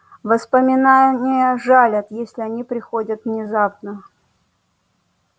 воспоминания жалят если они приходят внезапно